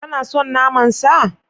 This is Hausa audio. Kana son naman sa?